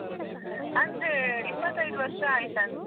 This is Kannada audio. ಅಂದ್ರೆ. ಇಪತ್ತೈದ್ ವರ್ಷ ಆಯ್ತಂತೆ.